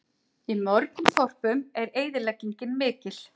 Í mörgum þorpum er eyðileggingin mikil